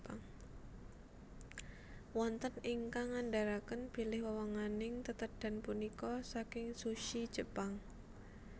Wonten ingkang ngandharaken bilih wewenganing tetedhan punika saking sushi Jepang